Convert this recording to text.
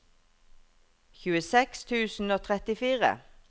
tjueseks tusen og trettifire